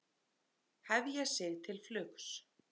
Hefja sig til flugs